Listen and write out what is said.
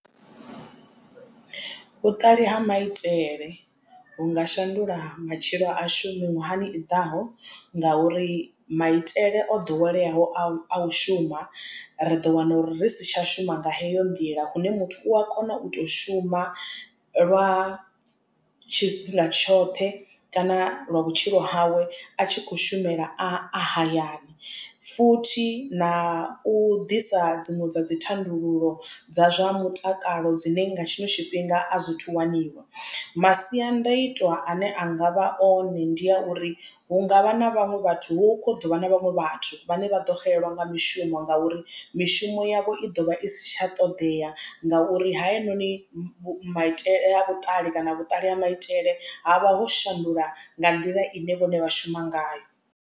Vhuṱali ha maitele vhu nga shandula matshilo a shu miṅwahani i ḓaho ngauri maitele o ḓoweleaho a u shuma ri ḓo wana uri ri si tsha shuma nga heyo nḓila lune muthu u a kona u to shuma lwa tshifhinga tshoṱhe kana lwa vhutshilo hawe a tshi khou shumela a hayani. Futhi na u ḓisa dziṅwe dza dzi thandululo dza zwa mutakalo dzine nga tshiṅwe tshifhinga a zwithu waniwa. Masiandoitwa ane angavha hone ndi a uri hu ngavha na vhaṅwe vhathu hu ḓovha na vhaṅwe vhathu vhane vha ḓo xelelwa nga mishumo ngauri mishumo yavho i ḓovha i si tsha ṱoḓea ngauri hayanoni maitele a vhuṱali kana vhuṱali ha maitele havha ho shandula nga nḓila ine vhone vha shuma ngayo.